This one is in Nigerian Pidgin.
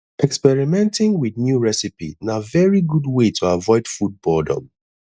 experimenting with new recipe na very good way to avoid food boredom